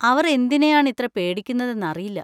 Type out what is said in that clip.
അവർ എന്തിനെയാണ് ഇത്ര പേടിക്കുന്നതെന്നറിയില്ല.